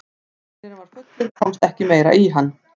þegar mælirinn var fullur komst ekki meira í hann